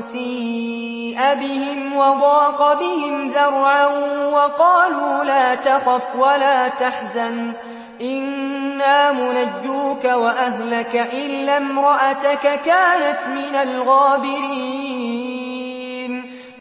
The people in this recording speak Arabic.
سِيءَ بِهِمْ وَضَاقَ بِهِمْ ذَرْعًا وَقَالُوا لَا تَخَفْ وَلَا تَحْزَنْ ۖ إِنَّا مُنَجُّوكَ وَأَهْلَكَ إِلَّا امْرَأَتَكَ كَانَتْ مِنَ الْغَابِرِينَ